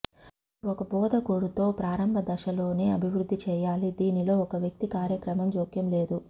ఇది ఒక బోధకుడు తో ప్రారంభ దశలోనే అభివృద్ధి చేయాలి దీనిలో ఒక వ్యక్తి కార్యక్రమం జోక్యం లేదు